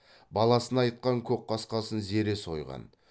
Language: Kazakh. баласына айтқан көкқасқасын зере сойған